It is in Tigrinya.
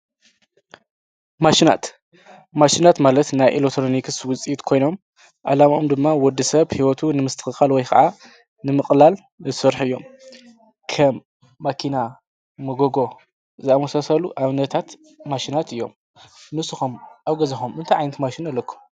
ማሺናት ማሺናት ማለት ናይ ኤለክትሮኒክስ ወፅኢት ኮይኖም ዓላምኦም ድማ ወድሰብ ሂወቱ ንምስትክካል ወይ ከዓ ንምቅላል ዝሰርሑ እዮም። ከም መኪና፣ መጎጎ ዝኣመሳሰሉ ኣብነታት መሽናት እዮም። ንስኩም ኣብ ገዛኩም እንታይ ዓይነት ማሽን ኣለኩም?